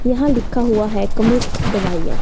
यहां लिखा हुआ है कमिस्ट दवाइयां।